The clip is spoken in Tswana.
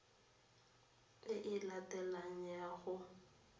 e e latelang ya go